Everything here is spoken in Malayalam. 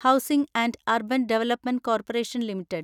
housing and urban development corporation limited